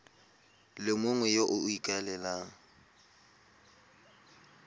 le mongwe yo o ikaelelang